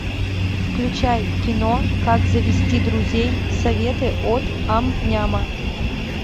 включай кино как завести друзей советы от ам няма